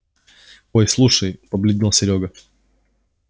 ой слушай побледнел серёга